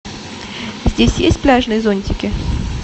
здесь есть пляжные зонтики